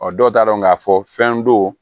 Ɔ dɔw t'a dɔn k'a fɔ fɛn don